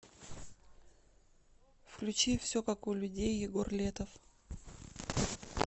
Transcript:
включи все как у людей егор летов